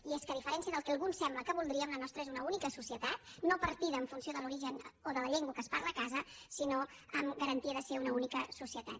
i és que a diferència del que alguns sembla que voldrien la nostra és una única societat no partida en funció de l’origen o de la llengua que es parla a casa sinó amb garantia de ser una única societat